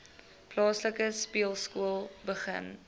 plaaslike speelskool begin